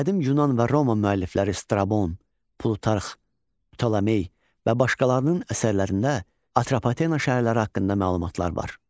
Qədim yunan və Roma müəllifləri Strabon, Plutarx, Ptolomey və başqalarının əsərlərində Atropatena şəhərləri haqqında məlumatlar var.